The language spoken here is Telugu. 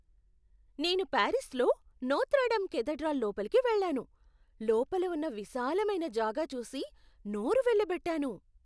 నేను పారిస్లో నోత్ర డమ్ కేథడ్రాల్ లోపలికి వెళ్ళాను, లోపల ఉన్న విశాలమైన జాగా చూసి నోరు వెళ్ళబెట్టాను.